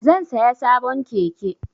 Zan saya sabon keke